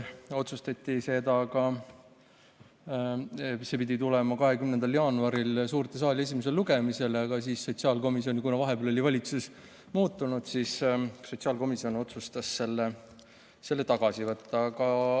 See pidi tulema suurde saali esimesele lugemisele 20. jaanuaril, aga kuna vahepeal oli valitsus muutunud, siis otsustas sotsiaalkomisjon selle tagasi võtta.